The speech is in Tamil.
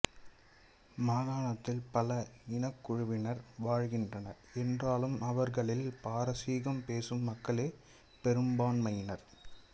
மாகாணத்தில் பல இனக்குழுவினர் வழ்கின்றனர் என்றாலும் அவர்களில் பாரசீகம் பேசும் மக்களே பெரும்பான்மையினர்